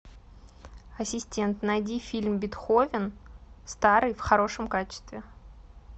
ассистент найди фильм бетховен старый в хорошем качестве